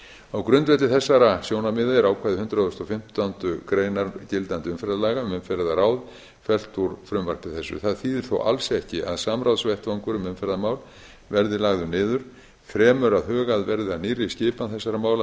á grundvelli þessara sjónarmiða er ákvæði hundrað og fimmtándu grein gildandi umferðarlaga um umferðarráð fellt úr frumvarpi þessu það þýðir þó alls ekki að samráðsvettvangur um umferðarmál verði lagður niður fremur að hugað verði að nýrri skipan þessara mála